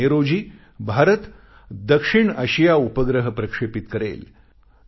5 May रोजी भारत दक्षिणआशिया उपग्रह प्रक्षेपित करेल